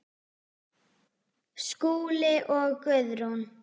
Skúli og Guðrún.